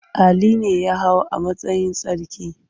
Ali ne ya hau a matsayin sarki.